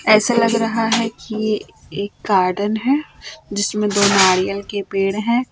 ऐसा लग रहा है कि एक गार्डन है जिसमें दो नारियल के पेड़ है।